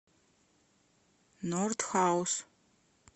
норд хаус